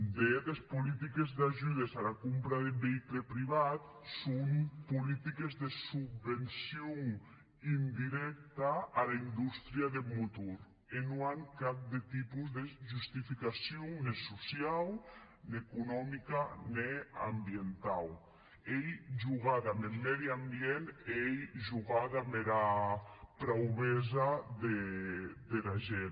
de hèt es politiques d’ajudes ara compra deth veïcul privat son politiques de subvencion indirècta ara indústria deth motor e non an cap de tipus de justificacion ne sociau ne economica ne ambientau ei jogar damb eth miei ambient e ei jogar damb era praubesa dera gent